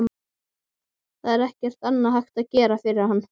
Það er ekkert annað hægt að gera fyrir hana.